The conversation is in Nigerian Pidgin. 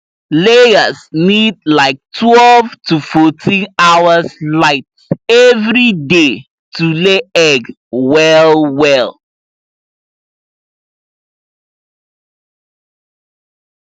layers need like twelve to fourteen hours light every day to lay egg well well